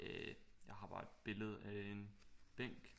Øh jeg har bare et billede af en bænk